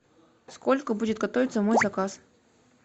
сколько будет готовиться мой заказ